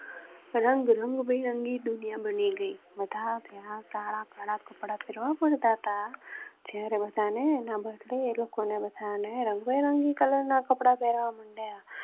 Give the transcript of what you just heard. રંગ રંગબિરંગી દુનિયા બની ગઈ. પડતા તા જ્યારે બધા ને ના બદલેં એ લોકો ને બધા ને રંગબેરંગી કલર ના કપડા પેરવા માંડ્યા